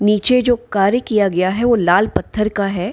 निचे जो कार्य किया गया है वो लाल पत्थर का है।